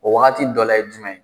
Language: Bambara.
O wagati dɔ la ye jumɛn ?